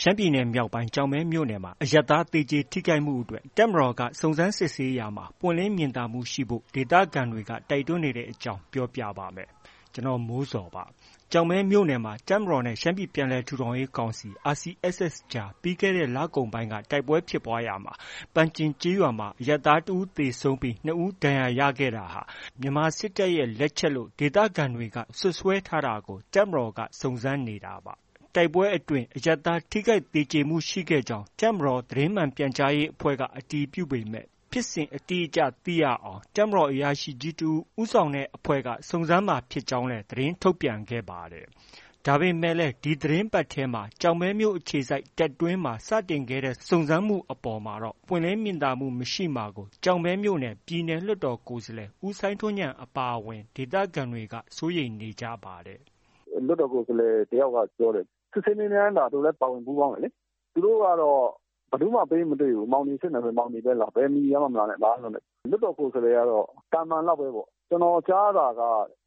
ရှမ်းပြည်မြောက်ပိုင်း ကျောက်မဲမြို့နယ်မှာ အရပ်သား သေကြေထိခိုက်မှုအတွက် တပ်မတော်က စုံစမ်းစစ်ဆေးမှုတွေ ပွင့်လင်းမြင်သာမှုရှိဖို့ ဒေသခံတွေ တိုက်တွန်းနေတဲ့အကြောင်း ပြောပြပါမယ်။ ဗွီအိုအေမြန်မာပိုင်းသတင်းထောက် ကိုမိုးဇော်က သတင်းပေးပို့ထားပါတယ်။ ကျောက်မဲမြို့နယ်မှာ တပ်မတော်နဲ့ ရှမ်းပြည်ပြန်လည် ထူထောင်ရေးကောင်စီ RCSS အဖွဲ့အကြား ပြီးခဲ့တဲ့လကုန်ပိုင်းက တိုက်ပွဲဖြစ်ပွားစဉ် ပန်ကျင်ကျေးရွာမှာ အရပ်သားတစ်ဦးသေဆုံးပြီး ၂ ဦး ဒဏ်ရာရခဲ့တာဟာ မြန်မာစစ်တပ်ရဲ့ လက်ချက်လို့ ဒေသခံတွေ စွပ်စွဲထားတာကို တပ်မတော်က စုံစမ်းနေတာပါ။ တိုက်ပွဲအတွင်း အရပ်သား ထိခိုက်သေကြေမှု ရှိခဲ့ကြောင်း တပ်မတော် သတင်းမှန်ပြန်ကြားရေး အဖွဲ့က အတည်ပြုခဲ့ပေမဲ့ ဖြစ်စဉ်အတိအကျ သိရအောင် တပ်မတော်အရာရှိကြီးတစ်ဦး ဦးဆောင်တဲ့ အဖွဲ့က စုံစမ်းမှာ ဖြစ်ကြောင်းလည်း သတင်းထုတ်ပြန်ခဲ့ပါတယ်။ ဒါပေမဲ့လည်း ဒီသီတင်းပတ်ထဲမှာပဲ ကျောက်မဲမြို့အခြေစိုက် တပ်တွင်းမှာ စတင်ခဲ့တဲ့ စုံစမ်းမှုတွေ အပေါ်မှာတော့ ပွင့်လင်းမြင်သာမှု မရှိမှာကို ကျောက်မဲမြို့နယ် ပြည်နယ် လွှတ်တော်ကိုယ်စားလှယ် ဦးစိုင်းထွန်းဉာဏ် အပါအဝင် ဒေသခံတွေက စိုးရိမ်နေကြပါတယ်။ “လွှတ်တော်ကိုယ်စားလှယ် တစ်ယောက်ပြောတယ်။ စစ်ဆေးမေးမြန်းတာ သူလည်း ပါဝင် ပူးပေါင်းတယ်လေ။ သူတို့ကတော့ ဘယ်သူမှ ပေးမတွေ့ဘူး။ မောင်နီစစ်မယ်ဆို မောင်နီပဲလာ။ ဘယ်မီဒီယာမှ မလာနဲ့၊ ဘာမှ မလုပ်နဲ့၊ လွှတ်တော်ကိုယ်စားလှယ်ကတော့ သာမန်လောက်ပဲပေါ့။ ကျနော်ကြားတာက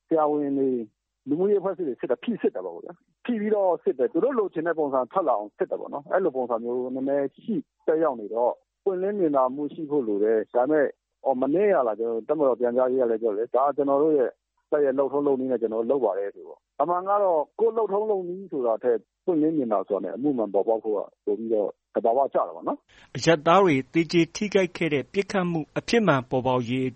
ဆရာဝန်တွေ၊ လူမှုရေးအဖွဲ့အစည်းတွေ စစ်တာ ဖိစစ်တာပေါ့။ ဖိပြီးတော့ စစ်တယ်၊ သူတို့ လိုချင်တဲ့ ပုံစံထွက်လာအောင် စစ်တယ်ပေါ့။ အဲလိုပုံစံမျိုး သက်ရောက်နေတော့ ပွင့်လင်းမြင်သာမှုရှိဖို့ လိုတယ်။ ဒါပေမဲ့ မနေ့ကလား တပ်မတော် ပြန်ကြားရေးကလည်း ပြောတယ်လေ ဒါ ကျနော်တို့ရဲ့ တပ်ရဲ့ လုပ်ထုံးလုပ်နည်းနဲ့ ကျနော်တို့ လုပ်ပါတယ်ဆိုပြီးတော့။ အမှန်ကတော့ ကိုယ်လုပ်ထုံးလုပ်နည်းဆိုတာထက် ပွင့်လင်းမြင်သာစွာနဲ့ အမှုမှန်ပေါ် ပေါက်ဖို့က သဘာဝကျတာပေါ့နော်။” အရပ်သားတွေ သေကြေထိခိုက်ခဲ့တဲ့ ပစ်ခတ်မှု အဖြစ်မှန်ပေါ်ပေါက်ရေး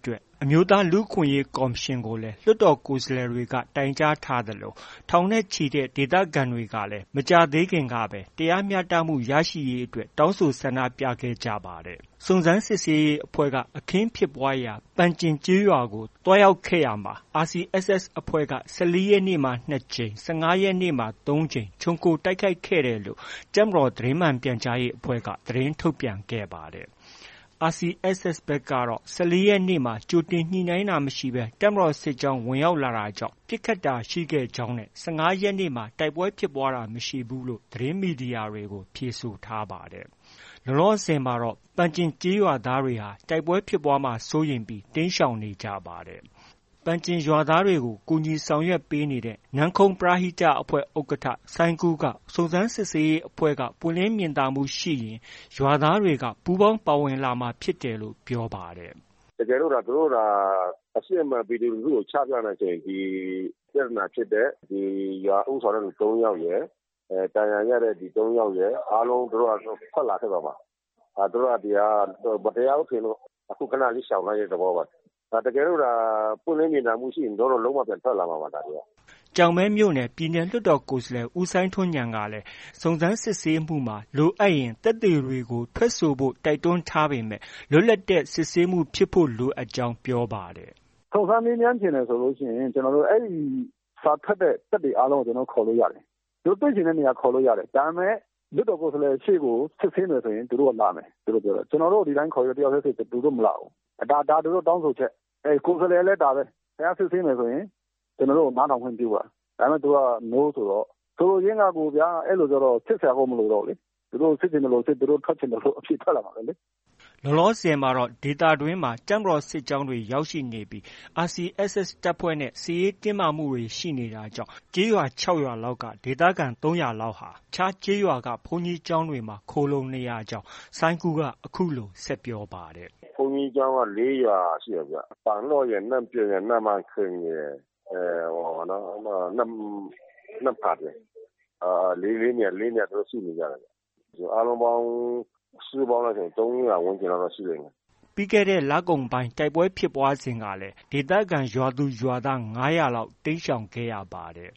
အမျိုးသား လူ့အခွင့်အရေး ကော်မရှင်ကိုလည်း လွှတ်တော်ကိုယ်စားလှယ်တွေ တိုင်ကြားထားသလို၊ ထောင်နဲ့ချီတဲ့ ဒေသခံတွေလည်း မကြာသေးခင်ကပဲ တရားမျှတမှုရရှိရေး တောင်းဆိုဆန္ဒပြခဲ့ကြပါတယ်။ စုံစမ်းစစ်ဆေးရေးအဖွဲ့ဟာ အခင်းဖြစ်ပွားရာ ပန်ကျင်ကျေးရွာကို သွားရောက်ခဲ့ရာမှာ RCSS အဖွဲ့က ၁၄ ရက်နေ့မှာ ၂ ကြိမ်၊ ၁၅ ရက်နေ့မှာ ၃ ကြိမ် ခြုံခိုတိုက်ခိုက်ခဲ့တယ်လို့ တပ်မတော် သတင်းမှန်ပြန်ကြားရေးအဖွဲ့က သတင်းထုတ်ပြန်ခဲ့ပါတယ်။ RCSS ဘက်ကတော့ ၁၄ ရက်နေ့မှာ ကြိုတင်ညှိနှိုင်းတာ မရှိဘဲ တပ်မတော်စစ်ကြောင်း ဝင်ရောက်လာတာကြောင့် ပစ်ခတ်တာရှိခဲ့ကြောင်းနဲ့ ၁၅ ရက်နေ့မှာ တိုက်ပွဲဖြစ်ပွားတာ မရှိဘူးလို့ သတင်းမီဒီယာတွေကို ဖြေဆိုထားပါတယ်။ လောလောဆယ်မှာတော့ ပန်ကျင်ကျေးရွာသားတွေဟာ တိုက်ပွဲဖြစ်ပွားမှာကို စိုးရိမ်ပြီး တိမ်းရှောင်နေကြပါတယ်။ ပန်ကျင်ရွာသားတွေကို ကူညီဆောင်ရွက်ပေးနေတဲ့ နန်းခုံးပရဟိတအဖွဲ့ ဥက္ကဋ္ဌ စိုင်းကူးက စုံစမ်းစစ်ဆေးရေးအဖွဲ့က ပွင့်လင်းမြင်သာမှုရှိရင် ရွာသားတွေက ပူးပေါင်းပါဝင်လာမှာ ဖြစ်တယ်လို့ ပြောပါတယ်။ "တကယ်လို့သူ သူတို့သာ အစစ်အမှန် ပြည်သူလူထုကို ချပြမယ်ဆိုရင် ပြဿနာဖြစ်တဲ့ ရွာ ဦးဆောင်သူ ၃ ယောက်ရယ်၊ ဒဏ်ရာရတဲ့သူ ၃ယောက်ရယ် အားလုံးသူတို့ဟာ သူတို့ ထွက်လာခဲ့မှာပါ။ သူတို့က ဒီဟာက မတရားဘူးထင်လို့ အခု ခဏလေး ရှောင်သွားတဲ့ သဘောပါ။ တကယ်လို့သာ ပွင့်လင်းမြင်သာမှုရှိရင် သူတို့ လုံး၀ ပြန်ထွက်လာမှာပါ။ ဒါတွေက။” ကျောက်မဲမြို့နယ် ပြည်နယ် လွှတ်တော်ကိုယ်စားလှယ် ဦးစိုင်းထွန်းဉာဏ်ကလည်း စုံစမ်းစစ်ဆေးမှုမှာ လိုအပ်ရင် သက်သေတွေကို ထွက်ဆိုဖို့ တိုက်တွန်းထားပေမဲ့ လွတ်လပ်တဲ့ စစ်ဆေးမှုတွေဖြစ်ဖို့ လိုကြောင်း ပြောပါတယ်။ “စုံစမ်းမေးမြန်းချင်တယ်ဆိုရင် အဲဒီ စာထွက်တဲ့ သက်သေအားလုံးကို ကျနော်တို့ ခေါ်လို့ ရတယ်။ သူတို့တွေ့ချင်တဲ့နေရာ ခေါ်လို့ ရတယ်။ ဒါပေမဲ့ လွှတ်တော်ကိုယ်စားလှယ်ရှေ့ကို စစ်ဆေးမယ်ဆို သူတို့က လာမယ်။ ဒီလိုပြောတယ်။ ကျနော်တို့ကို တစ်ယောက်ထဲ ဒီတိုင်းခေါ်ရင် သူတို့က မလာဘူး။ ဒါ သူတို့ တောင်းဆိုချက်။ ကိုယ်စားလှယ်ကလည် ဒါပဲ။ ခင်ဗျား စစ်ဆေးမယ်ဆိုရင် ကျနော်တို့ကို နားထောင်ခွင့်ပြုပါ။ ဒါပေမဲ့ သူတို့က No ဆိုတော့ ဆိုလိုရင်းက ဒီလိုဗျာ၊ အဲလိုကျတော့ စစ်စရာကို မလိုတော့ဘူး။ သူတို့ စစ်ချင်သလိုစစ် ထွက်ချင်သလို အဖြေထွက်လာမှာပဲလေ။” ဒေသတွင်းမှာ တပ်မတော် စစ်ကြောင်းတွေ ရောက်ရှိနေပြီး RCSS တပ်ဖွဲ့နဲ့ စစ်ရေးတင်းမာမှု ရှိနေတာကြောင့် ကျေးရွာ ခြောက် ရွာလောက်က ဒေသခံ ၃၀၀ လောက်ဟာ ဘေးလွတ်ရာ ရွာက ဘုန်းကြီးကျောင်းတွေမှာ ခိုလှုံနေကြကြောင်း စိုင်းကူးက အခုလို ဆက်ပြောပါတယ်။ “ဘုန်းကြီးကျောင်းက လေး ရွာရှိတယ်ဗျ။ ပန်လော့ရယ်၊ နန့်ကျင်ရယ်၊ နန့်ပန်ဆင့်ရယ် နမ့်ဖတ်ရယ်။ အားလုံးပေါင်းက လိုက်ရင် ၃၀၀ ဝန်းကျင်လောက်တော့ ရှိတယ်။ ” ပြီးခဲ့တဲ့ လကုန်ပိုင်းက တိုက်ပွဲဖြစ်ပွားစဉ်ကတော့ ဒေသခံရွာသူ ရွာသား ၅၀၀ လောက် တိမ်းရှောင်ခဲ့ရပါတယ်။